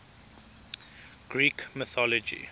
greek mythology